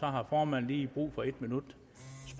har formanden lige brug for en minuts